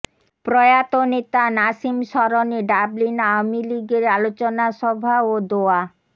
প্রয়াত নেতা নাসিম স্মরণে ডাবলিন আওয়ামীলীগের আলোচনা সভা ও দোয়া